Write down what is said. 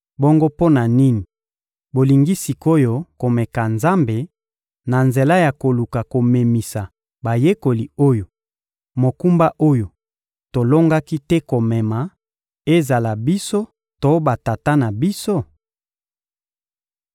Bongo mpo na nini bolingi sik’oyo komeka Nzambe, na nzela ya koluka komemisa bayekoli oyo, mokumba oyo tolongaki te komema, ezala biso to batata na biso?